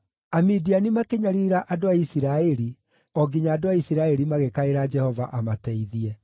Amidiani makĩnyariira andũ a Isiraeli o nginya andũ a Isiraeli magĩkaĩra Jehova amateithie.